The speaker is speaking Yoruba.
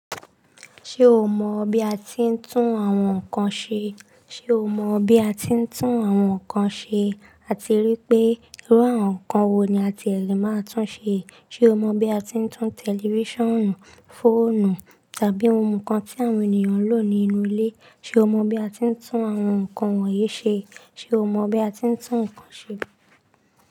Ṣé o mọ bí a ti ń tún àwọn nkan ṣe? Sé o mọ bí a ti ń tún àwọn nkan ṣe? Á ti rí pé irú àwọn nkan wo ni a ti lè máa tún ṣe. Sé o mọ bí a ti ń tún tẹlifíṣànù, fóònù tàbí ohun kan tí àwọn ènìyàn ń lò nínú ilé, sé o mọ bí a ti ń tún àwọn nkan wọ̀nyí ṣe? Sé o mọ bí a ti ń tún nkan ṣe?